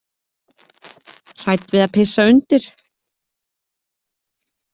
Hrædd við að pissa undir.